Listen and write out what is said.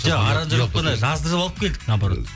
жоқ аранжировканы жаздырып алып келдік наоборот